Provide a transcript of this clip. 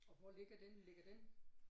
Og hvor ligger den ligger den